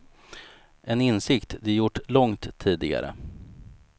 En insikt de gjort långt tidigare.